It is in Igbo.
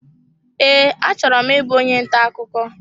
Ee, achọrọ m ịbụ onye ntà ọkụkọ